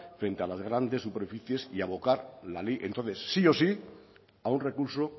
frente a las grandes superficies y abocar la ley entonces sí o sí a un recurso